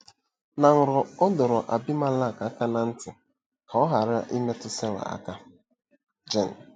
Na nrọ, ọ dọrọ Abimelek aka ná ntị ka ọ ghara imetụ Sera aka. — Jen.